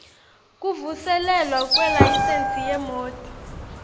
kuvuselelwa kwelayisensi yemoti